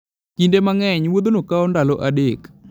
Kinde mang'eny, wuodhno kawo ndalo adek.